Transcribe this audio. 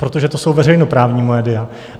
Protože to jsou veřejnoprávní média.